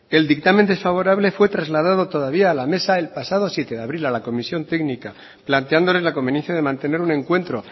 el dictamen desfavorable fue trasladado todavía a la mesa el pasado siete de abril a la comisión técnica planteándoles la conveniencia de mantener un encuentro